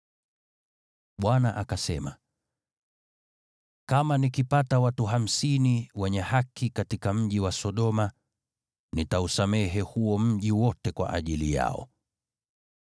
Bwana akasema, “Kama nikipata watu hamsini wenye haki katika mji wa Sodoma, nitausamehe huo mji wote kwa ajili yao.”